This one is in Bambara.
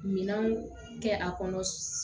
Minanw kɛ a kɔnɔ